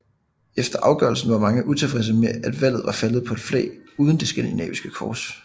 Efter afgørelsen var mange utilfredse med at valget var faldet på et flag uden det skandinaviske kors